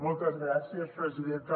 moltes gràcies presidenta